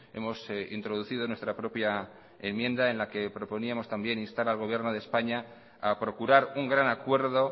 hemos introducido en nuestra propia enmienda en la que proponíamos también instar al gobierno de españa a procurar un gran acuerdo